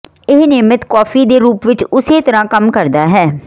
ਇਹ ਨਿਯਮਤ ਕੌਫੀ ਦੇ ਰੂਪ ਵਿੱਚ ਉਸੇ ਤਰ੍ਹਾਂ ਕੰਮ ਕਰਦਾ ਹੈ